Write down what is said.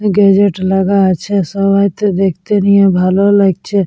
Gazette লাগা আছে। সবাই তো দেখতে নিয়ে ভালো লাগছে।